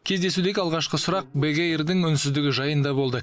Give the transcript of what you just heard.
кездесудегі алғашқы сұрақ бек эйрдің үнсіздігі жайында болды